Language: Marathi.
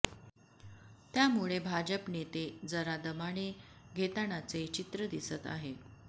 त्यामुळे भाजप नेते जरा दमाने घेतानाचे चित्र दिसत आहे